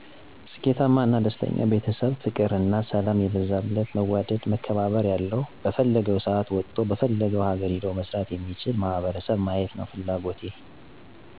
ስኬታማ እና ደስተኛ ቤተሰብ ፍቅር እና ሰላም የበዛለት መዋደድ መከባበር ያለዉ በፈለገዉ ሰአት ወጥቶ በፈለገዉ ሀገር ሄዶ መስራት የሚችል ማህበረሰብ ማየት ነዉ ፍላጎቴ።